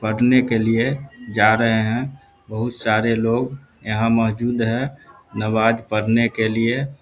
पढ़ने के लिए जा रहे हैं बहुत सारे लोग यहां मौजूद हैं नवाज पढ़ने के लिए --